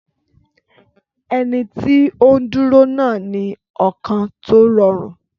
Ẹni tí ó ń dúró náà ní ọkàn tó rọrùn.